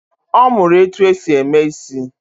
Ọ mụrụ etu e si eme isị